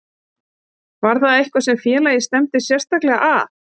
Var það eitthvað sem félagið stefndi sérstaklega að?